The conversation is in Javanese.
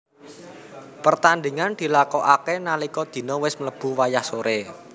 Pertandingan dilakokake nalika dina wis mlebu wayah sore